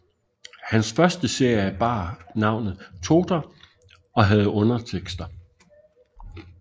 Hans første serie bar navnet Totor og havde undertekster